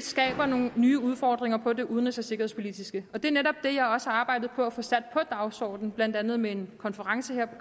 skaber nogle nye udfordringer på det udenrigs og sikkerhedspolitiske og det er netop det jeg også har arbejdet på at få sat på dagsordenen blandt andet med en konference her på